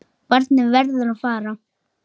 Barnið verður að fara.